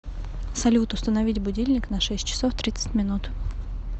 салют установить будильник на шесть часов тридцать минут